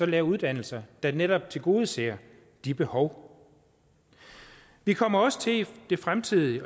lave uddannelser der netop tilgodeser de behov vi kommer også til i det fremtidige